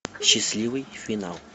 счастливый финал